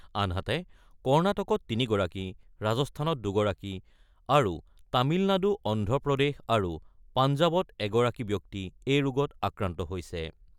আনহাতে কৰ্ণাটকত ৩ গৰাকী, ৰাজস্থানত দুগৰাকী আৰু তামিলনাডু, অন্ধ্ৰপ্ৰদেশ আৰু পাঞ্জাৱত এগৰাকীকৈ ব্যক্তি এই ৰোগত আক্ৰান্ত হৈছে।